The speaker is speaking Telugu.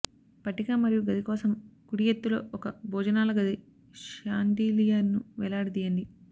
పట్టిక మరియు గది కోసం కుడి ఎత్తులో ఒక భోజనాల గది షాన్డిలియర్ను వేలాడదీయండి